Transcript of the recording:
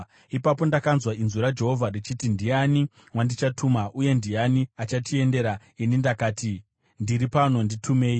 Ipapo ndakanzwa inzwi raJehovha richiti, “Ndiani wandichatuma? Uye ndiani achatiendera?” Ini ndakati, “Ndiri pano! Nditumei!”